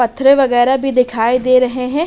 पत्थर वगैरा भी दिखाई दे रहे हैं।